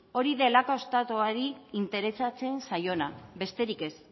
hori delako estatuari interesatzen zaiona besterik ez